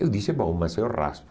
Eu disse, bom, mas eu raspo.